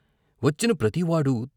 వచ్చిన ప్రతివాడూ.